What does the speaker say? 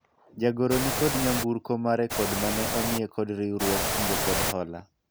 jagoro nikod nyamburko mare kod mane omiye kod riwruog kungo kod hola